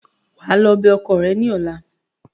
Wà á lọ bẹ ọkọ ẹ ní ọla!